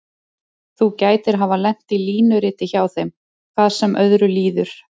Þú gætir hafa lent í línuriti hjá henni, hvað sem öðru líður.